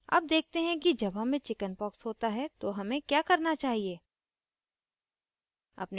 अब देखते हैं कि जब हमें chickenpox होता है तो हमें क्या करना चाहिए